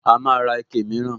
A máa ra ike mìíràn